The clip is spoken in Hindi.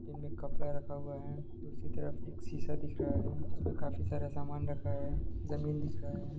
इनमे कपड़ा रखा हुआ है दूसरी तरफ एक शीशा दिख रहा है जिसमे काफी सारा सामान रखा है जमीन दिख रहा हैं।